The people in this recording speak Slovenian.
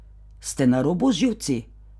Ste na robu z živci?